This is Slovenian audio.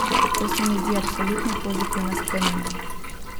To se mi zdi absolutno pozitivna sprememba.